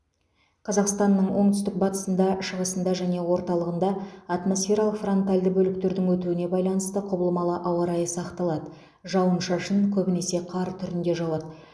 қазақстанның оңтүстік батысында шығысыңда және орталығында атмосфералық фронтальды бөліктердің өтуіне байланысты құбылмалы ауа райы сақталады жауын шашын көбінесе қар түрінде жауады